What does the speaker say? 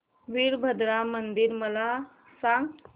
वीरभद्रा मंदिर मला सांग